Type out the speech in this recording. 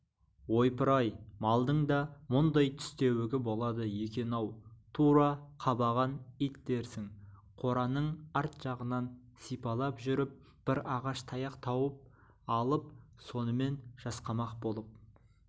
ойпыр-ай малдың да мұндай тістеуігі болады екен-ау тура қабаған ит дерсің қораның арт жағынан сипалап жүріп бір ағаш таяқ тауып алып сонымен жасқамақ болып